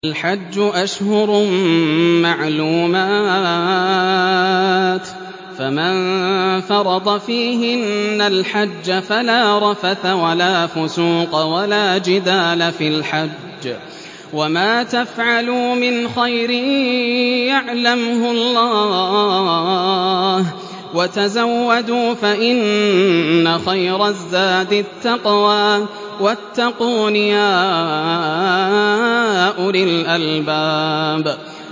الْحَجُّ أَشْهُرٌ مَّعْلُومَاتٌ ۚ فَمَن فَرَضَ فِيهِنَّ الْحَجَّ فَلَا رَفَثَ وَلَا فُسُوقَ وَلَا جِدَالَ فِي الْحَجِّ ۗ وَمَا تَفْعَلُوا مِنْ خَيْرٍ يَعْلَمْهُ اللَّهُ ۗ وَتَزَوَّدُوا فَإِنَّ خَيْرَ الزَّادِ التَّقْوَىٰ ۚ وَاتَّقُونِ يَا أُولِي الْأَلْبَابِ